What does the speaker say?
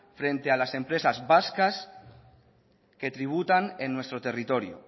frente a las empresas vascas que tributan en nuestro territorio